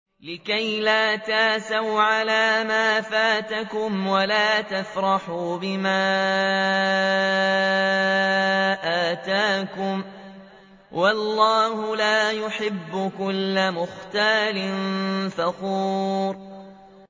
لِّكَيْلَا تَأْسَوْا عَلَىٰ مَا فَاتَكُمْ وَلَا تَفْرَحُوا بِمَا آتَاكُمْ ۗ وَاللَّهُ لَا يُحِبُّ كُلَّ مُخْتَالٍ فَخُورٍ